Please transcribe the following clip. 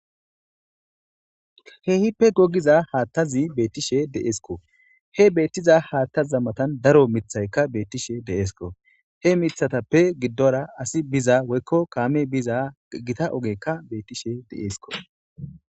Keehippe gogiza haattazi beettishe deesko he beettiza haattazammatan daro mithaykka beettishe deesko he mithatappe giddora asi biza woykko kaame biza gita ogekka beettishe deesko